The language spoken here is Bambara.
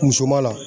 Muso ma la